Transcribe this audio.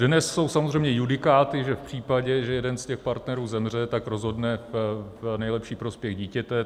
Dnes jsou samozřejmě judikáty, že v případě, že jeden z těch partnerů zemře, tak rozhodne v nejlepší prospěch dítěte.